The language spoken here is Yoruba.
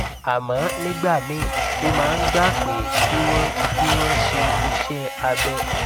àmọ nígbà míì ó máa ń gba pé kí wọn kí wọn ṣe iṣẹ abẹ